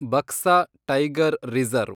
Buxa tiger reserve